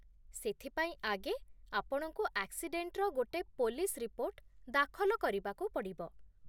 ସେଥିପାଇଁ, ଆଗେ, ଆପଣଙ୍କୁ ଆକ୍ସିଡେଣ୍ଟର ଗୋଟେ ପୋଲିସ୍ ରିପୋର୍ଟ ଦାଖଲ କରିବାକୁ ପଡ଼ିବ ।